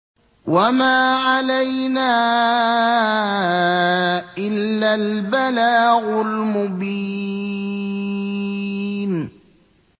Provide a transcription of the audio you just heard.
وَمَا عَلَيْنَا إِلَّا الْبَلَاغُ الْمُبِينُ